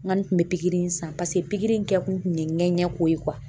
Ŋɔni tun be pikiri in san pase pikiri in kɛ kun kun ye ŋɛɲɛ ko ye .